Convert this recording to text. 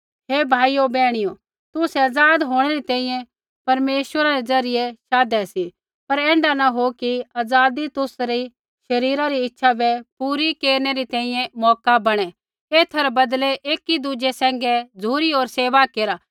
हे भाइयो बैहणियो तुसै आज़ाद होंणै री तैंईंयैं परमेश्वरा रै ज़रियै शाधै सी पर ऐण्ढा न हो कि ऐ आज़ादी तुसरी शरीरा री इच्छा बै पूरा केरनै री तैंईंयैं मौका बणै एथा रै बदलै एकी दुज़ै सैंघै झ़ुरी होर सेवा केरा